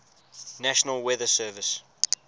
national weather service